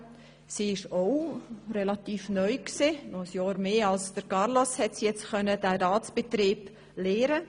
Auch sie war relativ neu und konnte nur ein Jahr länger als Carlos alles über den Ratsbetrieb lernen.